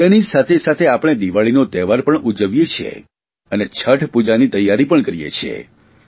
તેની સાથે સાથે આપણે દિવાળીનો તહેવાર પણ ઉજવીએ છીએ અને છઠ પૂજાની તૈયારી પણ કરીએ છીએ